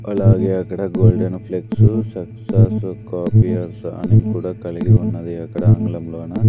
అలాగే అక్కడ golden flex success copiers అని కూడా కలిగి ఉన్నది అక్కడ ఆంగ్లం లోన--